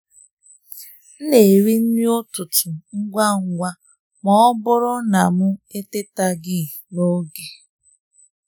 m na-eri nri ụtụtụ ngwa ngwa ma ọ bụrụ na m atetaghị n’oge.